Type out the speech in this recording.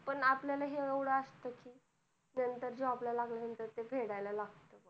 पण आपल्याला हे येवढ असत कि नंतर job ला लागल्या नंतर ते फेडाला लागत बघ